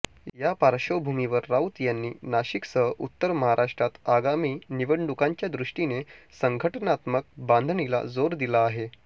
या पार्श्वभूमीवर राऊत यांनी नाशिकसह उत्तर महाराष्ट्रात आगामी निवडणुकांच्या दृष्टीने संघटनात्मक बांधणीला जोर दिला आहे